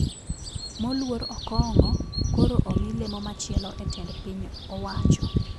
Moluor okong`o koro omi lemo machielo e tend piny owacho